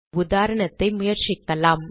உதாரணத்தை முயற்சிக்கலாம்